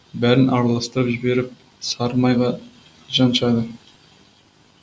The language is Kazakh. бәрін араластырып жіберіп сары майға жаншады